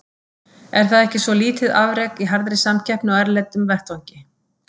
Er það ekki svo lítið afrek í harðri samkeppni á erlendum vettvangi.